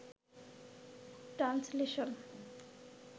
translation